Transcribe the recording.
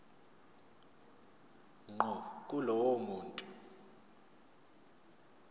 ngqo kulowo muntu